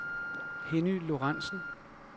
Henny Lorenzen